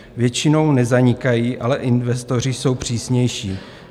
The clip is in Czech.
Většinou nezanikají, ale investoři jsou přísnější.